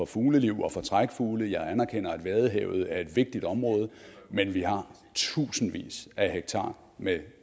fugleliv og for trækfugle og jeg anerkender at vadehavet er et vigtigt område men vi har tusindvis af hektar med